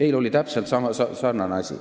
Eile oli täpselt sarnane asi.